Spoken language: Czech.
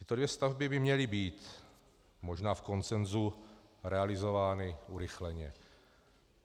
Tyto dvě stavby by měly být možná v konsenzu realizovány urychleně.